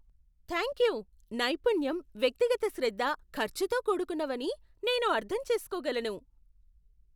Thank you! నైపుణ్యం, వ్యక్తిగత శ్రద్ధ, ఖర్చుతో కూడుకున్నవని నేను అర్థం చేసుకోగలను.